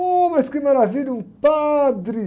Oh, mas que maravilha, um padre!